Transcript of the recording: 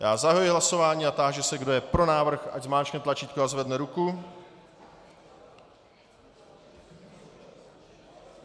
Já zahajuji hlasování a táži se, kdo je pro návrh, ať zmáčkne tlačítko a zvedne ruku.